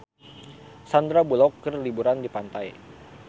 Sandar Bullock keur liburan di pantai